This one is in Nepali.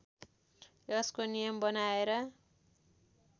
यसको नियम बनाएर